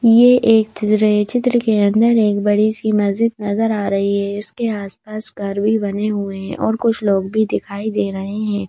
ये एक चित्र है चित्र के अंदर एक बड़ी सी मस्जिद नजर आ रही है इसके आसपास घर भी बने हुए हैं और कुछ लोग भी दिखाई दे रहे हैं।